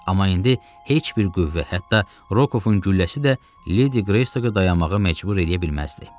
Amma indi heç bir qüvvə, hətta Rokovun gülləsi də Ledi Greystoku dayanmağa məcbur edə bilməzdi.